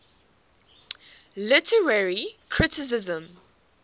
literary criticism